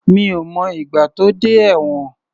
Mi ò mọ ìgbà tó dé ẹ̀wọ̀n.